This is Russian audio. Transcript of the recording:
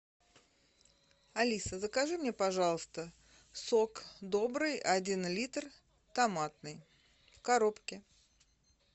алиса закажи мне пожалуйста сок добрый один литр томатный в коробке